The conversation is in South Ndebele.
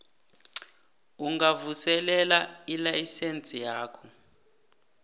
ungavuselela ilayisense yakho